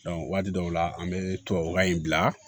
waati dɔw la an bɛ tubabukan in bila